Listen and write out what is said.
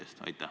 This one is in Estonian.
Aeg!